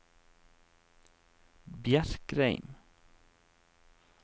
Bjerkreim